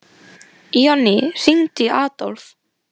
Jonný, hringdu í Adólf.